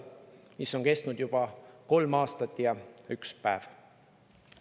See sõda on kestnud juba kolm aastat ja üks päev.